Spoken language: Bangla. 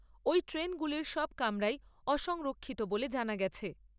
ওই ট্রেনগুলির সব কামরাই অসংরক্ষিত বলে জানা গেছে।